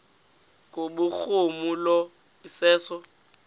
kubhuruma lo iseso